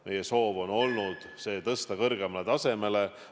Meie soov on olnud tõsta seda kõrgemale tasemele.